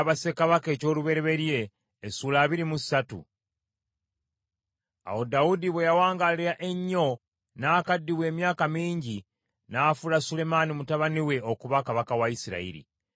Awo Dawudi bwe yawangaala ennyo n’akaddiwa emyaka mingi n’afuula Sulemaani mutabani we okuba kabaka wa Isirayiri.